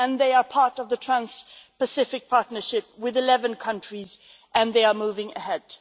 They are part of the Trans-Pacific Partnership with 11 countries, and they are moving ahead.